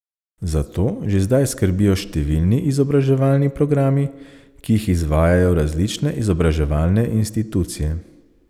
Za to že zdaj skrbijo številni izobraževalni programi, ki jih izvajajo različne izobraževalne institucije.